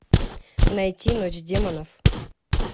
найти ночь демонов